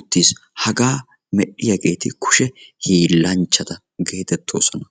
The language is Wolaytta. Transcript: uttiis. hagaa medhdhiyaageti kushe hiillanchchata geetettoosona.